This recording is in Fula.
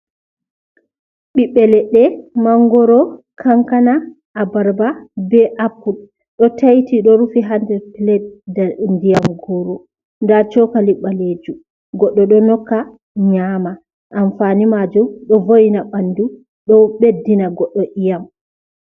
Ɓiɓbe leɗɗe, mangoro, kankana, abarba, be apple ɗo taiti ɗo rufi ha nder plad, nda ndiyam goro da cokali balejum goɗɗo ɗo nokka nyama, amfani maju ɗo voyna ɓandu ɗo ɓeddina goɗɗo yiyam.